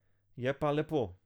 Je pa lepo.